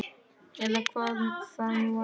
Eða hver það nú var.